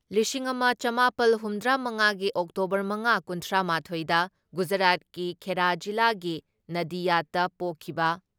ꯂꯤꯁꯤꯡ ꯑꯃ ꯆꯃꯥꯄꯜ ꯍꯨꯝꯗ꯭ꯔꯥ ꯃꯉꯥꯒꯤ ꯑꯣꯛꯇꯣꯕꯔ ꯃꯉꯥ ꯀꯨꯟꯊ꯭ꯔꯥ ꯃꯥꯊꯣꯏ ꯗ ꯒꯨꯖꯔꯥꯠꯀꯤ ꯈꯦꯔꯥ ꯖꯤꯂꯥꯒꯤ ꯅꯗꯤꯌꯥꯠꯇ ꯄꯣꯛꯈꯤꯕ